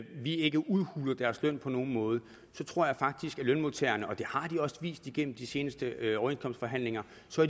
vi ikke udhuler deres løn på nogen måde så tror jeg faktisk at lønmodtagerne og det har de også vist igennem de seneste overenskomstforhandlinger